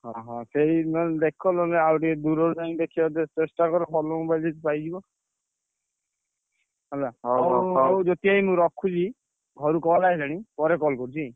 ଅହ ସେଇ ନହେଲେ ଦେଖ ନହେଲେ ଆଉ ଟିକେ ଦୂରରୁ ଯାଇ ଦେଖିଆକୁ ଚେଷ୍ଟା କର ଭଲ mobile ଯଦି ପାଇଯିବ। ହେଲା ହଉ ଜ୍ୟୋତି ଭାଇ ମୁଁ ରଖୁଛି ଘରୁ call ଆଇଲାଣି ପରେ call କରୁଛି।